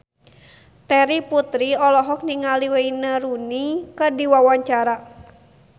Terry Putri olohok ningali Wayne Rooney keur diwawancara